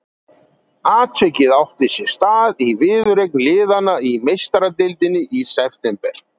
Atvikið átti sér stað í viðureign liðanna í Meistaradeildinni í september.